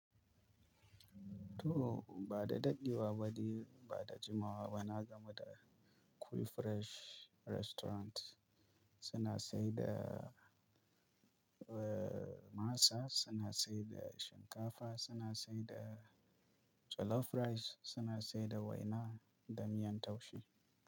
To ba da daɗewa ba dai ba da jimawa ba na gamu dai da Cool Fresh Restaurant. Suna saida, eh, masa, suna saida shinkafa, suna saida jollof rice, suna saida waina da miyan taushe.